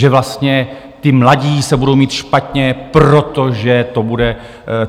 Že vlastně ti mladí se budou mít špatně, protože to bude...